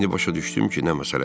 İndi başa düşdüm ki, nə məsələdir.